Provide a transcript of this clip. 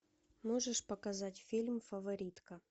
можешь показать фильм фаворитка